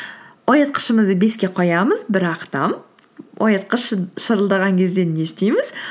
оятқышымызды беске қоямыз бірақ та оятқыш шырылдаған кезде не істейміз